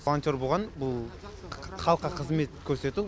волонтер болған бұл халыққа қызмет көрсету